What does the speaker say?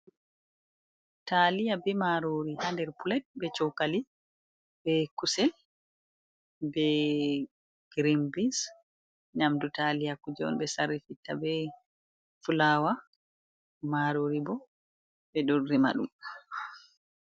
Talia be marori ha nder plet be cokali be kusel be grin bins, nyamdu talia kuje on ɓe sarrifitta be fulawa, marori bo ɓe ɗo rema ɗum.